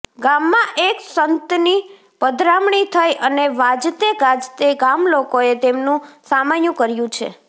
ગામમાં એક સંતની પધરામણી થઈ અને વાજતે ગાજતે ગામલોકોએ તેમનું સામૈયું કર્યું છે